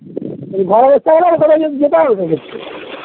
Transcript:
এ ঘরের